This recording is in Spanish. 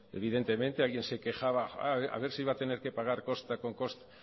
evidentemente alguien se quejaba ah a ver si va a tener que pagar costa con costa